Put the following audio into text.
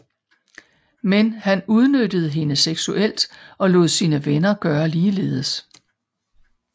Men han udnyttede hende seksuelt og lod sine venner gøre ligeledes